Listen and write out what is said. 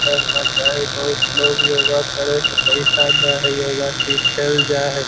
करना चाही बहुत लोग योगा करे के पैसा दे हई योगा सिखेले जाय हई।